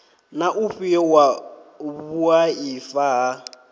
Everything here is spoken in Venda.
na ufhio wa vhuaifa ha